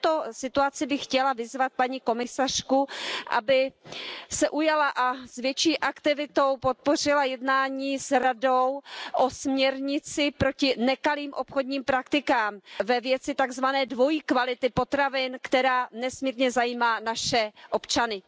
V této situaci bych chtěla vyzvat paní komisařku, aby se ujala a s větší aktivitou podpořila jednání s Radou o směrnici proti nekalým obchodním praktikám ve věci tak zvané dvojí kvality potravin, která nesmírně zajímá naše občany.